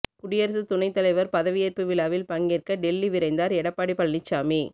குடியரசு துணை தலைவர் பதவியேற்பு விழாவில் பங்கேற்க டெல்லி விரைந்தார் எடப்பாடி பழனிச்சாமி